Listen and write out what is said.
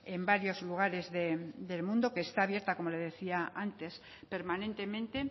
en varios lugares del mundo que está abierta como le decía antes permanentemente